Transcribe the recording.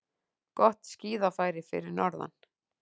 Gott skíðafæri fyrir norðan